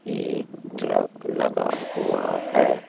एक ट्रक लगा हुआ है।